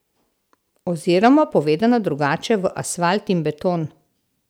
Oziroma, povedano drugače, v asfalt in beton.